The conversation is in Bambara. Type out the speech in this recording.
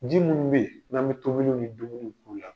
Ji minnu bɛ ye n'an bɛ tobiliw ni dumuniw b'u la.